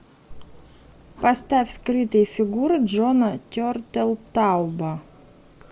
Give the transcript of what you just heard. поставь скрытые фигуры джона тертелтауба